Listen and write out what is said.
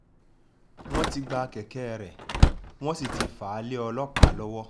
wọ́n ti gba kẹ̀kẹ́ rẹ̀ wọ́n sì ti fà á lé ọlọ́pàá lọ́wọ́